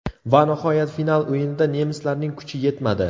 Va nihoyat final o‘yinida nemislarning kuchi yetmadi.